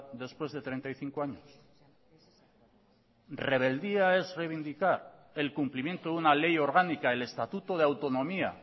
después de treinta y cinco años rebeldía es revindicar el cumplimiento de una ley orgánica el estatuto de autonomía